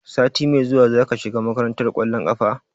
Sati mai zuwa zaka shiga makarantar ƙwallon ƙafa?